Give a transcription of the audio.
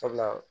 Sabula